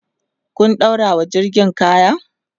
ku ɗaurawa jirgin kaya!